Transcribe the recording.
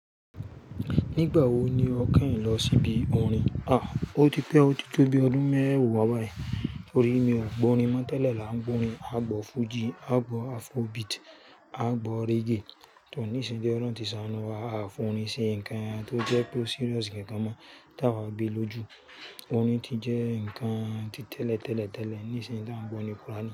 Nígbà wo ni ọ́ kànyi lọ síbi orin? À, ó ti pẹ́ ó o ti tó bi ọdún mẹ́wàá bayi. Tori mi ò gbọ́ orin mọ́ tẹ́lẹ̀ là ń gbọ́ orin. A gbọ́ fújì, a gbọ́ afróbeat, a gbọ́ reggae. Tò nísìn ti oloun ti sánù wá, a forin sí ǹkan tó jẹ́ pe o serious gangan mọ́ tí àwa gbé lójú. Orin ti jẹ́ ǹkan ti tẹ́lẹ̀, tẹ́lẹ̀, tẹ́lẹ̀, nísìíní tí a ń gbọ́ orin quránì.